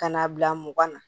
Ka n'a bila mugan na